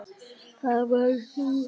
Það varst þú.